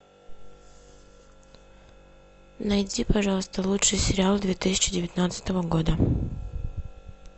найди пожалуйста лучший сериал две тысячи девятнадцатого года